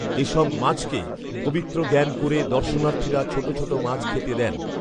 এসব মাছকে পবিত্র জ্ঞান করে দর্শনার্থীরা ছোট ছোট মাছ খেতে দেন